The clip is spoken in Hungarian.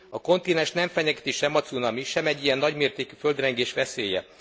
A kontinenst nem fenyegeti sem a cunami, sem egy ilyen nagy mértékű földrengés veszélye.